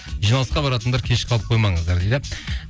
жиналысқа баратындар кеш қалып қоймаңыздар дейді